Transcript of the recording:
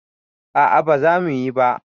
A'a baza muyi ba